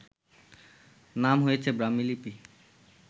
নাম হয়েছে ব্রাহ্মীলিপি